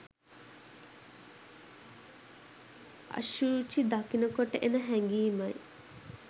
අශුචි දකිනකොට එන හැඟීමයි